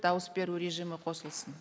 дауыс беру режимі қосылсын